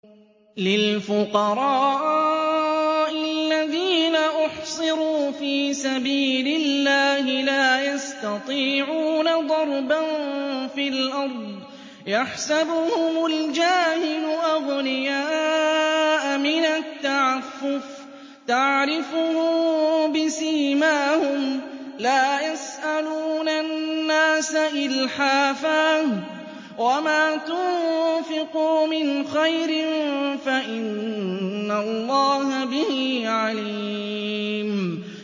لِلْفُقَرَاءِ الَّذِينَ أُحْصِرُوا فِي سَبِيلِ اللَّهِ لَا يَسْتَطِيعُونَ ضَرْبًا فِي الْأَرْضِ يَحْسَبُهُمُ الْجَاهِلُ أَغْنِيَاءَ مِنَ التَّعَفُّفِ تَعْرِفُهُم بِسِيمَاهُمْ لَا يَسْأَلُونَ النَّاسَ إِلْحَافًا ۗ وَمَا تُنفِقُوا مِنْ خَيْرٍ فَإِنَّ اللَّهَ بِهِ عَلِيمٌ